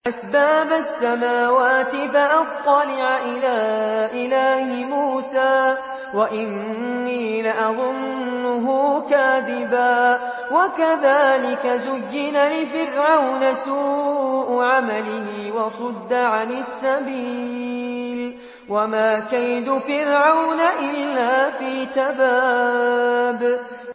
أَسْبَابَ السَّمَاوَاتِ فَأَطَّلِعَ إِلَىٰ إِلَٰهِ مُوسَىٰ وَإِنِّي لَأَظُنُّهُ كَاذِبًا ۚ وَكَذَٰلِكَ زُيِّنَ لِفِرْعَوْنَ سُوءُ عَمَلِهِ وَصُدَّ عَنِ السَّبِيلِ ۚ وَمَا كَيْدُ فِرْعَوْنَ إِلَّا فِي تَبَابٍ